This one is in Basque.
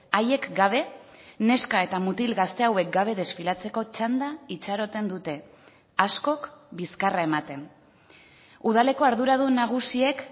haiek gabe neska eta mutil gazte hauek gabe desfilatzeko txanda itxaroten dute askok bizkarra ematen udaleko arduradun nagusiek